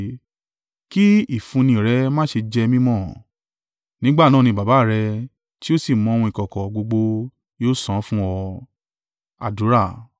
kí ìfúnni rẹ má ṣe jẹ́ mí mọ̀. Nígbà náà ni Baba rẹ̀, tí ó sì mọ ohun ìkọ̀kọ̀ gbogbo, yóò san án fún ọ.